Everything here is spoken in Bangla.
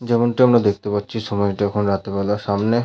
যেমনটি আমরা দেখতে পাচ্ছি সময়টা এখন রাতেবেলার সামনে।